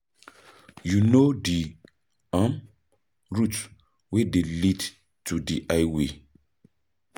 you know di um route wey dey lead to di highway?